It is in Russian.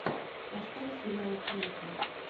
поставь сериалы крэйка